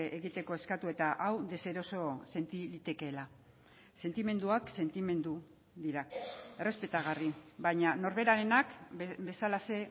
egiteko eskatu eta hau deseroso senti litekeela sentimenduak sentimendu dira errespetagarri baina norberarenak bezalaxe